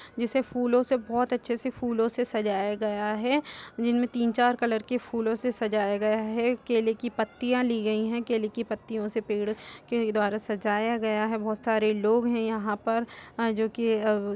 जिसे फूलों से बोहत अच्छे से फूलों से सजाया गया है जिनमें तीन चार कलर के फूलों से सजाया गया है केले की पत्तियाँ ली गयी हैं केले की पत्तियों से पेड़ के द्वारा सजाया गया है बहुत सारे लोग हैं यहाँ पर अ जो की अब --